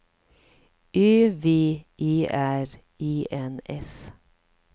Ö V E R E N S